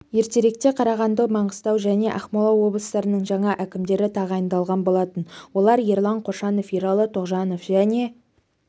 ертеректе қарағанды маңғыстау және ақмола облыстарының жаңа әкімдері тағайындалған болатын олар ерлан қошанов ералы тоғжанов және